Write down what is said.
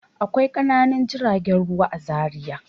Akwai ƙananan jiragen ruwa a Zariya.